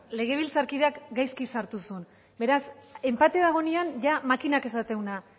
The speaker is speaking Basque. legebiltzarkideak gaizki sartu zuen beraz enpate dagoenean ia makinak esaten duena